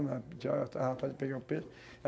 Tinha uma tarrafada de pegar o peixe.